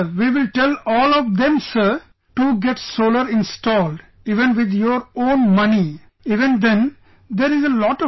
We will tell all of them Sir, to get solar installed, even with your own money,... even then, there is a lot of benefit